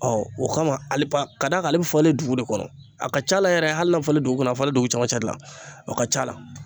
o kama hali pa k'a d'ale bi fale dugu de kɔnɔ. A ka c'a la yɛrɛ hali n'a fale dugu kɔnɔ a fale dugu camancɛ de la. O ka c'a la.